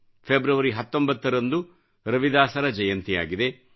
February 19 ರಂದು ರವಿದಾಸರ ಜಯಂತಿಯಾಗಿದೆ